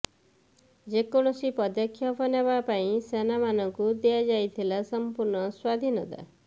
ଯେକୈଣସି ପଦେକ୍ଷପ ନେବା ପାଇଁ ସେନାମାନଙ୍କୁ ଦିଆଯାଇଥିଲା ସଂପୂର୍ଣ୍ଣ ସ୍ୱାଧୀନତା